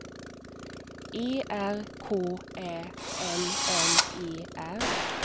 E R K Ä N N E R